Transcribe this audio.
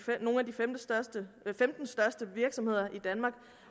femten største virksomheder i danmark